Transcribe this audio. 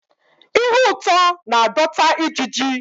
Ihe ụtọ na-adọta ijiji